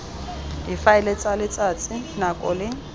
difaele tsa letsatsi nako le